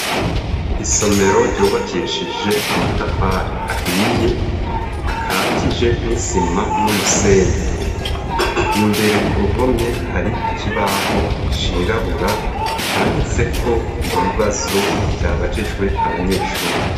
Isomero ryubakishije amatafari ahiye akatije n'isima n'umusenyi imbere ku ruhome hari ikibaho cirabura canditse ko ibibazo vyabajijwe abanyeshuri.